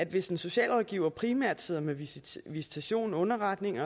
hvis en socialrådgiver primært sidder med visitation underretning